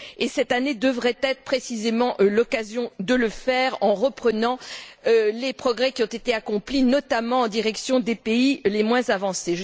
Et cette année devrait être précisément l'occasion de le faire en reprenant les progrès qui ont été accomplis, notamment en direction des pays les moins avancés.